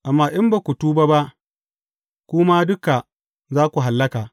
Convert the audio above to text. Amma in ba ku tuba ba, ku ma duka za ku hallaka.